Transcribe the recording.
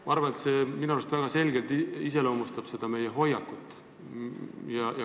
Ma arvan, et see iseloomustab väga selgelt meie hoiakut.